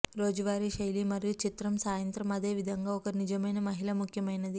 రోజువారీ శైలి మరియు చిత్రం సాయంత్రం అదే విధంగా ఒక నిజమైన మహిళ ముఖ్యమైనది